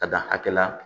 Ka dan hakɛ la